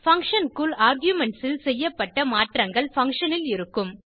function க்குள் arguments ல் செய்யப்பட்ட மாற்றங்கள் பங்ஷன் ல் இருக்கும்